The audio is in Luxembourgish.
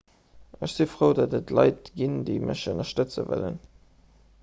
ech si frou datt et leit ginn déi mech ënnerstëtze wëllen